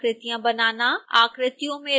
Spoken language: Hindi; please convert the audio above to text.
मूल आकृतियाँ बनाना